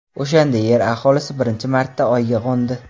O‘shanda Yer aholisi birinchi marta Oyga qo‘ndi.